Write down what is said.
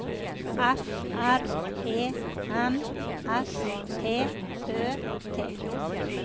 F R E M S T Ø T